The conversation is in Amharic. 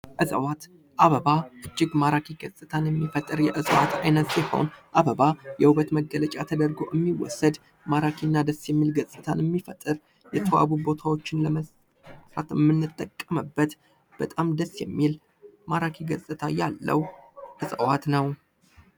እፅዋት አበባ እጅግ ማራኪ ገፅታን የሚፈጥር የእፅዋት አይነት ሲሆን አበባ የዉበት መገለጫ ተደርጎ የሚወሰድ ማራኪ እና ደስ የሚል ገፅታን የሚፈጥር ማራኪ ገፅታ ያለዉ የእፅዋት አይነት ነዉ።